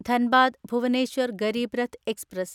Dhanbad Bhubaneswar Garib Rath express